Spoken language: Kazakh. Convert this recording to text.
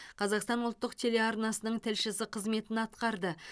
қазақстан ұлттық телеарнасының тілшісі қызметін атқарды